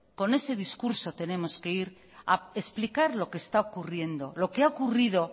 con ese discurso tenemos que ir a explicar que es lo que está ocurriendo lo que ha ocurrido